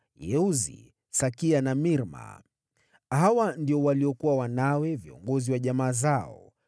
Yeuzi, Sakia na Mirma. Hawa ndio waliokuwa wanawe, viongozi wa jamaa zao.